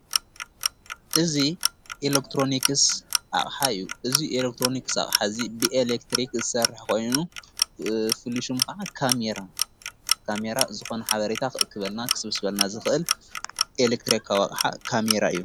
እዝ ኤለክሮንክስ አቅሓ ኣዩ እዙይ ኤለክትሮንክስ ኣቕሕዚ ብኤሌክትሪኽ ዝሠርሕኾይኑ ፍሉሹም ከዓ ካሜራ ካሜይራ ዝኾነ ሓበሪታ ኽእክበልና ኽስብስበልና ዝኽእል ኤለክትርክውቕዓ ካሚይራ እዩ::